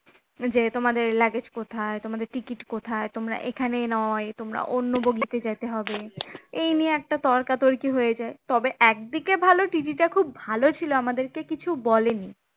যে তোমাদের luggage কোথায় তোমাদের ticket কোথায়? তোমরা এখানে নয় তোমরা অন্য bogie তে যেতে হবে এই নিয়ে একটা তর্কাতর্কি হয়ে যায় তবে, একদিকে ভালো TT টা খুব ভালো ছিল আমাদেরকে কিছু বলেনি।